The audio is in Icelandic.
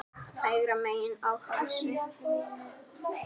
Hægra megin á hálsi.